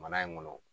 Mana in kɔnɔ